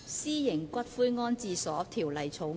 《私營骨灰安置所條例草案》。